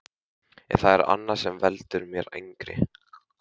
En það er annað sem veldur mér angri.